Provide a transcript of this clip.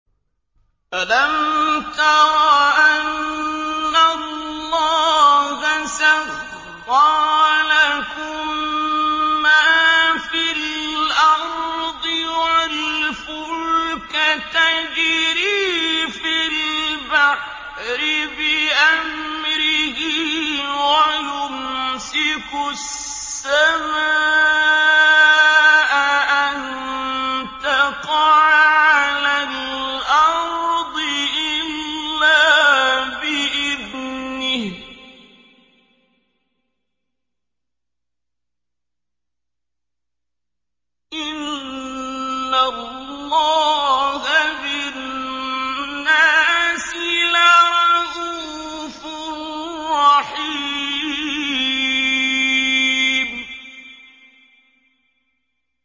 أَلَمْ تَرَ أَنَّ اللَّهَ سَخَّرَ لَكُم مَّا فِي الْأَرْضِ وَالْفُلْكَ تَجْرِي فِي الْبَحْرِ بِأَمْرِهِ وَيُمْسِكُ السَّمَاءَ أَن تَقَعَ عَلَى الْأَرْضِ إِلَّا بِإِذْنِهِ ۗ إِنَّ اللَّهَ بِالنَّاسِ لَرَءُوفٌ رَّحِيمٌ